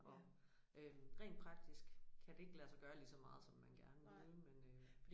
Og øh rent praktisk kan det ikke lade sig gøre lige så meget som man gerne ville men øh